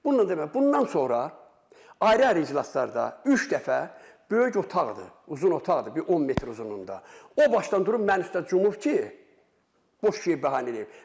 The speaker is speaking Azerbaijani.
Bununla deməli, bundan sonra ayrı-ayrı iclaslarda üç dəfə böyük otaqdır, uzun otaqdır, bir 10 metr uzunluğunda, o başdan durub mənim üstünə cumub ki, boş şey bəhanə eləyib.